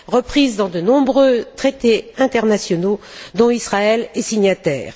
inscrit dans de nombreux traités internationaux dont Israël est signataire.